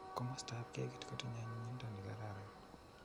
Komostap kekit kotinyei onyinyinto nikararan.